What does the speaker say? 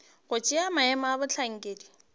go tšea maemo a bohlankedi